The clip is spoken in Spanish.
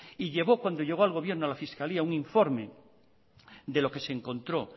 y llevó cuando llegó al gobierno a la fiscalía un informe de lo que se encontró